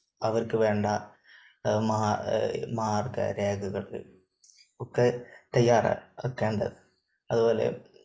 അവർക്ക് വേണ്ട മാർഗരേഖകൾ ഒക്കെ തയ്യാറാക്കേണ്ടതുണ്ട്. അത്പോലെ